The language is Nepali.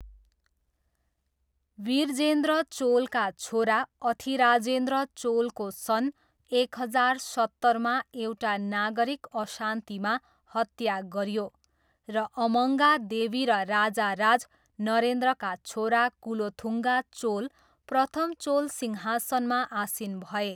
विरजेन्द्र चोलका छोरा अथिराजेन्द्र चोलको सन् एक हजार सत्तरमा एउटा नागरिक अशान्तिमा हत्या गरियो र अम्मङ्गा देवी र राजाराज नरेन्द्रका छोरा कुलोथुङ्गा चोल प्रथम चोल सिंहासनमा आसीन भए।